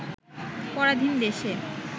পরাধীন দেশে